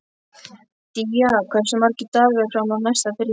Día, hversu margir dagar fram að næsta fríi?